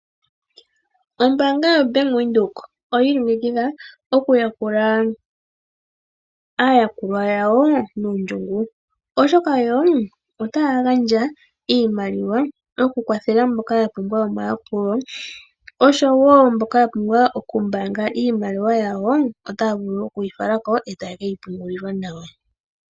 Ombaanga yoBank Windhoek oyi ilongekidha okuyakula aayakulwa yawo nondjungu. Oshoka yo otaya gandja iimaliwa yokukwathela mboka ya pumbwa omayakulo oshowo mboka ya pumbwa okumbaanga iimaliwa yawo otaya vulu okuyi fala ko.